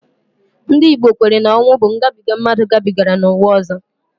Ndị Igbo kwere na ọnwu bụ ngabiga mmadụ gabigara n'ụwa ọzọ